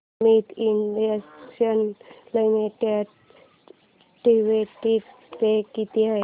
Amit international limited dividend pay किती आहे